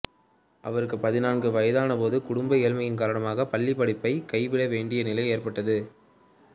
அவருக்குப் பதினான்கு வயதானபோது குடும்ப ஏழ்மையின் காரணமாகப் பள்ளிப் படிப்பைக் கைவிட வேண்டிய நிலை ஏற்பட்டது